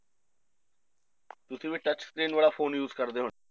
ਤੁਸੀਂ ਵੀ touch screen ਵਾਲਾ phone use ਕਰਦੇ ਹੋਣੇ